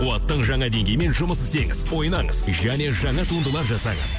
қуаттың жаңа деңгеймен жұмыс істеңіз ойнаңыз және жаңа туындылар жасаңыз